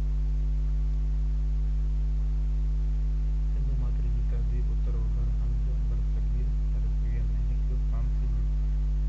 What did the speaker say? سنڌو ماٿري جي تهذيب اتر اوڀر هند برصغير ۾ هڪ ڪانسي جي